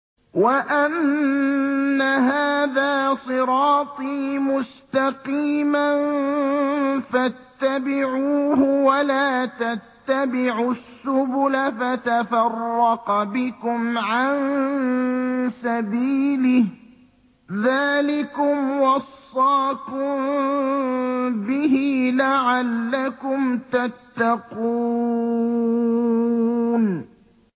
وَأَنَّ هَٰذَا صِرَاطِي مُسْتَقِيمًا فَاتَّبِعُوهُ ۖ وَلَا تَتَّبِعُوا السُّبُلَ فَتَفَرَّقَ بِكُمْ عَن سَبِيلِهِ ۚ ذَٰلِكُمْ وَصَّاكُم بِهِ لَعَلَّكُمْ تَتَّقُونَ